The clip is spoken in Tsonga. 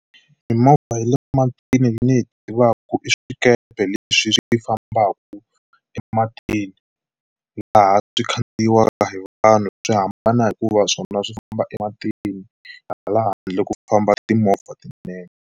Mimovha ya le matini ni yi tivaku i swikepe leswi swi fambaku ematini laha swi khandziyiwaka hi vanhu swi hambana hikuva swona swi famba ematini hala handle ku famba timovha tinene.